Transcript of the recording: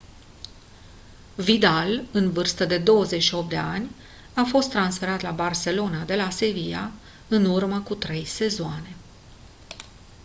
vidal în vârstă de 28 de ani a fost transferat la barcelona de la sevilla în urmă cu trei sezoane